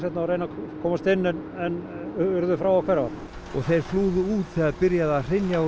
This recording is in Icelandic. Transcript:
og reyna að komast inn en urðu fá að hverfa og þeir flúðu út þegar byrjaði að hrynja úr